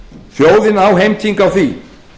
þjóðin á heimtingu á því